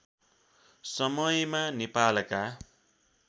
समयमा नेपालका